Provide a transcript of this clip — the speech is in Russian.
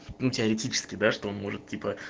ну теоретически да что он может типа